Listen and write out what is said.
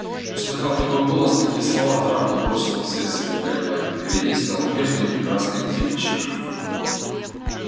услыхав такой голос такие слова травка бросила все свои колебания перед ней стоял прежний прекрасный антипыч